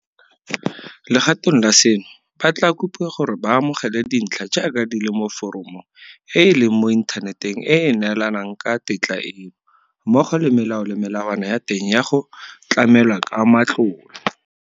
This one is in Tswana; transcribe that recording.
Legatong la seno, ba tla kopiwa gore ba amogele dintlha jaaka di le mo foromong e e leng mo inthaneteng e e neelanang ka tetla eno, mmogo le melao le melawana ya teng ya go tlamelwa ka matlole.